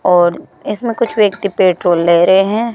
और इसमें कुछ व्यक्ति पेट्रोल ले रहे हैं।